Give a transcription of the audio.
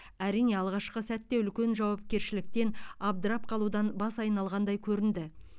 әрине алғашқы сәтте үлкен жауапкершіліктен абдырап қалудан бас айналғандай көрінді